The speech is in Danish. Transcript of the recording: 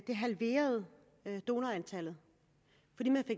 antallet